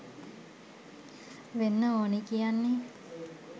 වෙන්න ඕනි කියන්නේ.